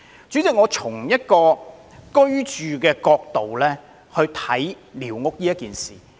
主席，我會從居住的角度審視寮屋的問題。